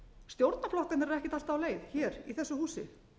stjórnarflokkarnir eru ekkert alltaf á leið hér í þessu húsi